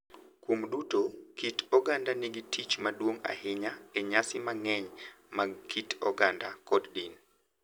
Kuom duto, kit oganda nigi tich maduong’ ahinya e nyasi mang’eny mag kit oganda kod din,